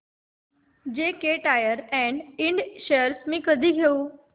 JK tyre and इंड shares मी कधी घेऊ